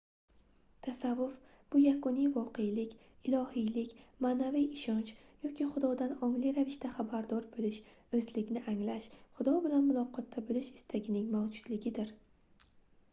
tasavvuf bu yakuniy voqelik ilohiylik maʼnaviy ishonch yoki xudodan ongli ravishda xabardor boʻlish oʻzlikni anglash xudo bilan muloqotda boʻlish istagining mavjudligidir